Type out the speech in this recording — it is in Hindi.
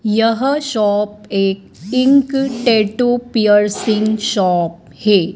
यह शॉप एक इंक टैटू पियर्सिंग शॉप हें।